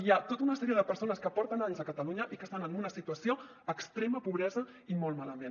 hi ha tota una sèrie de persones que porten anys a catalunya i que estan en una situació d’extrema pobresa i molt malament